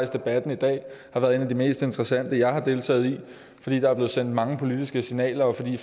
debatten i dag har været en af de mest interessante jeg har deltaget i fordi der er blevet sendt mange politiske signaler og fordi